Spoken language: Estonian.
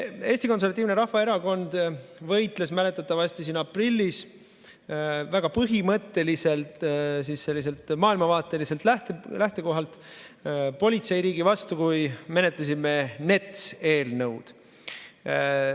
Eesti Konservatiivne Rahvaerakond võitles mäletatavasti aprillis väga põhimõtteliselt selliselt maailmavaateliselt lähtekohalt politseiriigi vastu, kui me menetlesime NETS-i eelnõu.